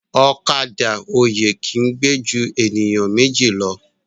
Ọ̀kadà oyè ki gbe jù eniyan Méjì ló